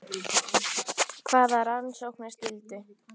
Hvaða rannsóknarskyldu?